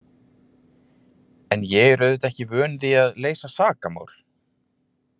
En ég er auðvitað ekki vön því að leysa sakamál.